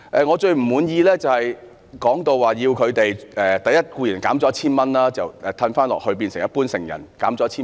我最不滿意的是他們的援助被削減 1,000 元，變成一般成人的綜援。